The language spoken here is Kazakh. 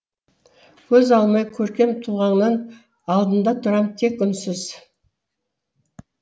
көз алмай көркем тұлғаңнан алдыңда тұрам тек үнсіз